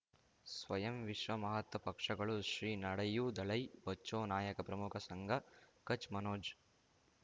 ಸ್ವಯಂ ವಿಶ್ವ ಮಹಾತ್ಮ ಪಕ್ಷಗಳು ಶ್ರೀ ನಡೆಯೂ ದಲೈ ಬಚೌ ನಾಯಕ ಪ್ರಮುಖ ಸಂಘ ಕಚ್ ಮನೋಜ್